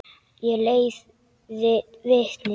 Ég leiði vitni.